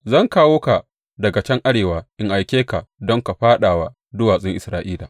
Zan kawo ka daga can arewa in aike ka don ka fāɗa wa duwatsun Isra’ila.